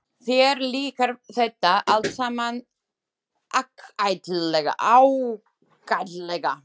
Þér líkar þetta allt saman ágætlega.